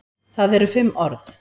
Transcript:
Það eru fimm orð.